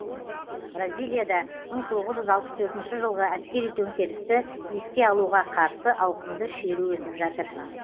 бразилияда мың тоғыз жүз алпыс төртінші жылғы әскери төңкерісті еске алуға қарсы ауқымды шеру өтіп жатыр